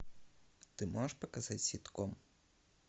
ты можешь показать ситком